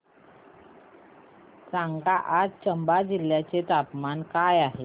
सांगा आज चंबा जिल्ह्याचे तापमान काय आहे